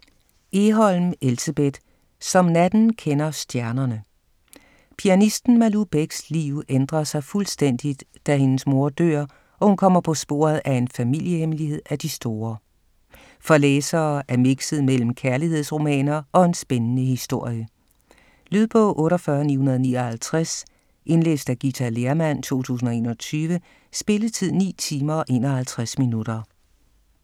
Egholm, Elsebeth: Som natten kender stjernerne Pianisten Malou Becks liv ændrer sig fuldstændigt, da hendes mor dør, og hun kommer på sporet af en familiehemmelighed af de store. For læsere af mixet mellem kærlighedsromaner og en spændende historie. Lydbog 48959 Indlæst af Githa Lehrmann, 2021. Spilletid: 9 timer, 51 minutter.